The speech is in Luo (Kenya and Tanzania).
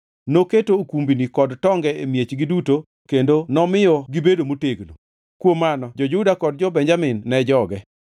Noketo okumbini kod tonge e miechgi duto kendo nomiyo gibedo motegno. Kuom mano jo-Juda kod jo-Benjamin ne joge.